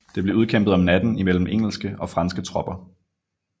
Det blev udkæmpet om natten imellem engelske og franske tropper